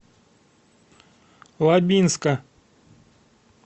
лабинска